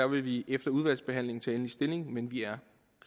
vil vi efter udvalgsbehandlingen tage endelig stilling men vi er